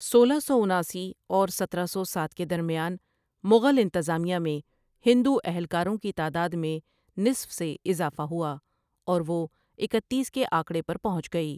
سولہ سو اناسی اور سترہ سو ساتھ کے درمیان، مغل انتظامیہ میں ہندو اہلکاروں کی تعداد میں نصف سے اضافہ ہوا، اور وہ اکتیس کے آکڑے پر پحنچ گئی۔